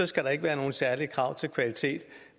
skal være nogle særlige krav til kvalitet